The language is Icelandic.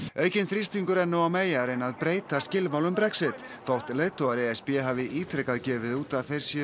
aukinn þrýstingur er nú á May að reyna að breyta skilmálum Brexit þótt leiðtogar e s b hafi ítrekað gefið út að þeir séu